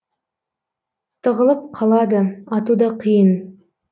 тығылып қалады ату да қиын